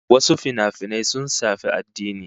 Wasu finafinan sun shafi addini